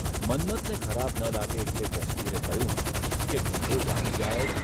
મન્મથને ખરાબ ન લાગે એટલે જસબીરે કહ્યું કે ધંધો જામી જાય.